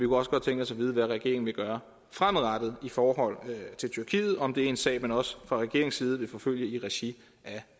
også godt tænke os at vide hvad regeringen vil gøre fremadrettet i forhold til tyrkiet om det er en sag man også fra regeringens side vil forfølge i regi af